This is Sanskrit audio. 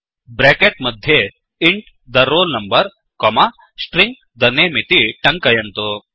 ब्रेकेट् मध्ये int the roll number comma string the name इति टङ्कयन्तु